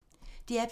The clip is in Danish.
DR P2